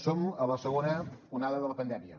som a la segona onada de la pandèmia